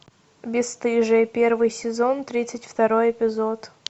бесстыжие первый сезон тридцать второй эпизод